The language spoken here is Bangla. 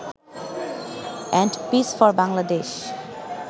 and peace for Bangladesh